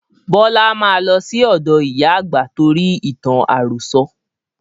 Bọlá máa lọ sí ọ̀dọ ìyá àgbà torí ìtàn àròsọ̀